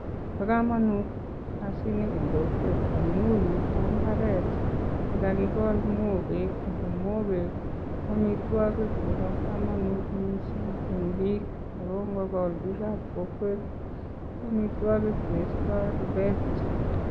Bokomonut kasini eng kokwet amu Yu ko mbaret nekakikol mwokkek Ako mwokkek koamitwokik chebo kamanut mising eng bik. Ako ngokol bikab kokwet ko amitwagik che istoi rubet.